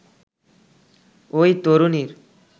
ওই তরুণীর